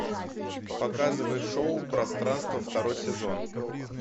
показывай шоу пространство второй сезон